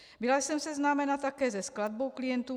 Byla jsem seznámena také se skladbou klientů.